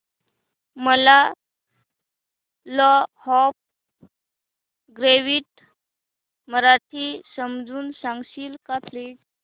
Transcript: मला law of gravity मराठीत समजून सांगशील का प्लीज